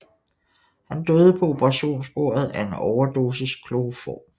Han døde på operationsbordet af en overdosis kloroform